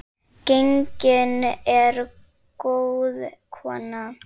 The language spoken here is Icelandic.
Gengin er góð kona.